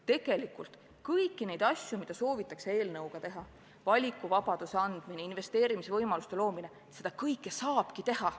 Tegelikult kõiki neid asju, mida soovitakse seadusega teha – valikuvabaduse andmine, investeerimisvõimaluste loomine –, saab ka teisiti teha.